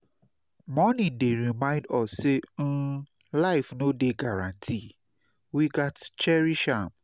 Mourning dey remind us say um life no dey guarantee; we gats cherish am.